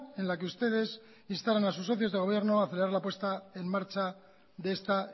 en la que ustedes instaran a sus socios de gobierno a acelerar la puesta en marcha de esta